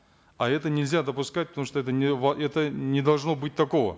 а это нельзя допускать потому что это это не должно быть такого